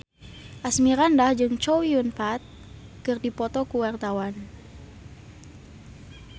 Asmirandah jeung Chow Yun Fat keur dipoto ku wartawan